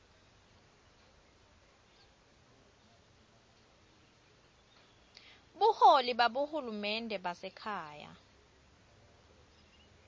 buholi babohulumende basekhaya